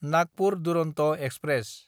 Nagpur Duronto express